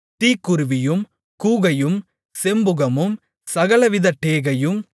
தீக்குருவியும் கூகையும் செம்புகமும் சகலவிதமான டேகையும்